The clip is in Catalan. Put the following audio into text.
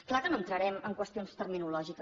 clar que no entrarem en qüestions terminològiques